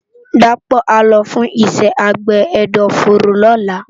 Dapo á lò fùn iṣè ábé ẹdọfóró lòlá